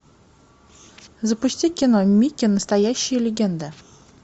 запусти кино микки настоящая легенда